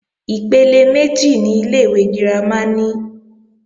Ipele méjì ni ilé-ìwé girama ní.